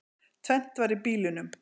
Tvennt var í bílunum.